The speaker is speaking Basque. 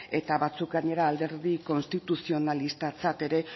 eta batzuk gainera alderdi konstituzionalistatzat ere